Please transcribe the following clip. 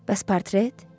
Bəs portret?